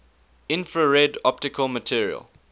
infrared optical material